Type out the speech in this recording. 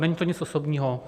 Není to nic osobního.